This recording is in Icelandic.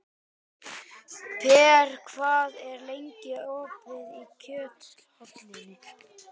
Per, hvað er lengi opið í Kjöthöllinni?